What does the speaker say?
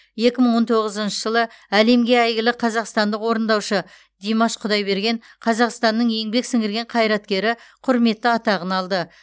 екі мың он тоғызыншы жылы әлемге әйгілі қазақстандық орындаушы димаш құдайберген қазақстанның еңбек сіңірген қайраткері құрметті атағын алды